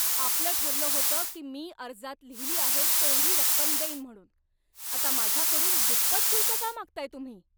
आपलं ठरलं होतं की मी अर्जात लिहिली आहे तेवढी रक्कम देईन म्हणून. आता माझ्याकडून दुप्पट शुल्क का मागताय तुम्ही?